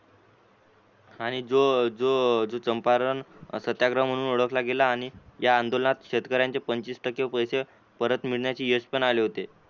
आणि जो जो चम्पारण सत्याग्रह म्हणून ओळखला गेला आणि या आंदोलनात शेतकऱ्यांचे पंचवीस टक्के पैसे परत मिळण्याचे यशपण आले होते.